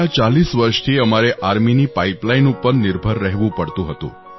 ગયાં 40 વર્ષથી અમારે આર્મીની પાઇપલાઇન પર નિર્ભર રહેવું પડતું હતું